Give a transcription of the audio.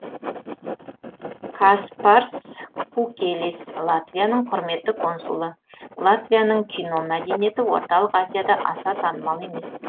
каспарс кукелис латвияның құрметті консулы латвияның кино мәдениеті орталық азияда аса танымал емес